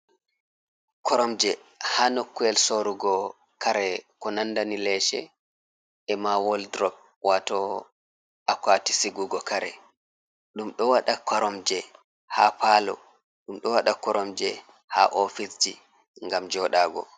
Koromje ha nokkuyel sorugo kare ko nandani leshe e ma woldrop wato akati sigugo kare ɗum ɗo waɗa koromje ha palo ɗum ɗo waɗa koromje ha ofiseji gam joɗago.